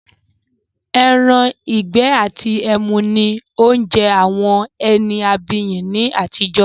“Ẹran-ìgbẹ́ àti ẹmu” ni oúnjẹ àwọn ẹni abiyì ni àtijọ́